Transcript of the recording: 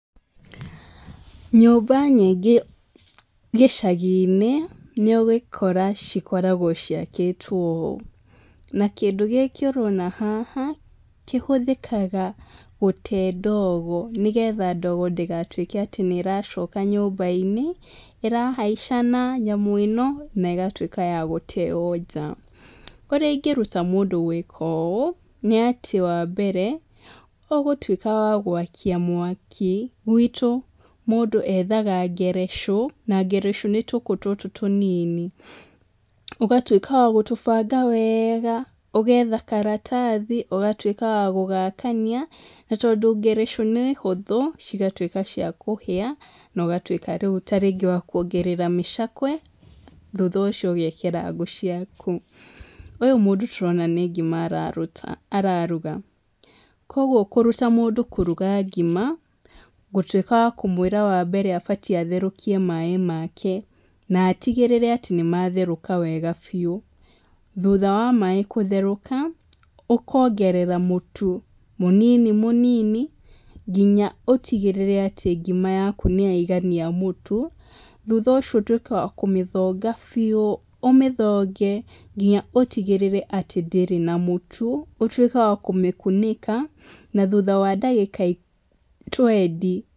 Nyũmba nyingĩ gĩcagi-inĩ nĩ ũgũkora cikoragwo ciakĩtwo ũũ, na kĩndũ gĩkĩ ũrona haha kĩhũthĩkaga gũtee ndogo nĩgetha ndogo ndĩgatuĩke atĩ nĩ ĩracoka nyũmba-inĩ, ĩrahaica na nyamũ ĩno na ĩgatuĩka ya gũteo nja. Ũrĩa ĩngĩruta mũndũ gwĩka ũũ nĩ atĩ wa mbere ũgũtuĩka wa gũakia mwaki, gwitũ mũndũ ethaga ngerecũ na ngerecũ nĩ tũkũ tũtũ tũnini. Ũgatuĩka wa gũtũbanga wega, ũgetha karatathi, ũgatuĩka wa gũgakania, na tondũ ngerecũ nĩ hũthũ cigatuĩka cia kũhĩa na ũgatuĩka rĩu ta rĩngĩ wa kuongerera mĩcakwe, thutha ũcio ũgekĩra ngũ ciaku. Ũyũ mũndũ tũrona nĩ ngima araruga, kwoguo kũruta mũndũ kũruga ngima, ngũtuĩka wa kũmwĩra atĩ wa mbere abatiĩ gũtherũkia maĩ make na atigĩrĩre atĩ nĩ matherũka wega biũ. Thutha wa maĩ gũtherũka, ũkongerera mũtu mũnini mũnini nginya ũtigĩrĩre atĩ ngima yaku nĩ yaigania mũtu. Thutha ũcio ũtuĩkaga wa kũmĩthonga biũ, ũmĩthonge nginya ũtigĩrĩre atĩ ndĩrĩ na mũtu. Ũtuĩke wa kũmĩkunĩka na thutha wa ndagĩka twenty